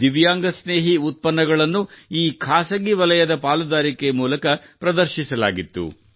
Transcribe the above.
ದಿವ್ಯಾಂಗ ಸ್ನೇಹಿ ಉತ್ಪನ್ನಗಳನ್ನು ಈ ಖಾಸಗಿ ವಲಯದ ಪಾಲುದಾರಿಕೆ ಮೂಲಕ ಪ್ರದರ್ಶಿಸಲಾಗಿತ್ತು